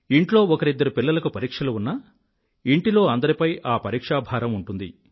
ఇంట్లో ఒకరిద్దరు పిల్లలకు పరీక్షలు ఉన్నా ఇంటిలో అందరిపై ఆ పరీక్షాభారం ఉంటుంది